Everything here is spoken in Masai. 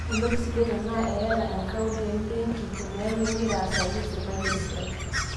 Entoki sidai tenaa eyata akaunt e mbenki teneeku ingira aasaki sirkali esiai